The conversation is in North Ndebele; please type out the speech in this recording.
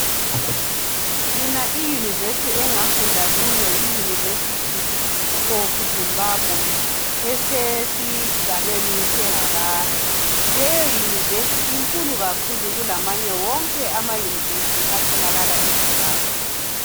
Mina iunivesi engafunda kuyo yi Univesity of Zimbabwe esesigabeni seHarare, leyo univesi inkulu kakhulu kulamanye wonke ama univesi atholakala eZimbabwe.